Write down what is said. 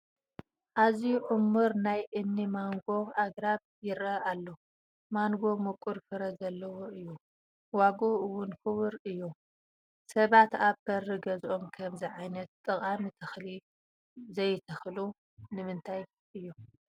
ኣዝዩ ዕሙር ናይ እኒ ማንጐ ኣግራብ ይርአ ኣሎ፡፡ ማንጐ ምቁር ፍረ ዘለዎ እዩ፡፡ ዋግኡ እውን ክቡር እዩ፡፡ ሰባት ኣብ በሪ ገዝኦም ከምዚ ዓይነት ጠቓሚ ተኽሊ ዘይተኽሉ ንምንታይ እዩ?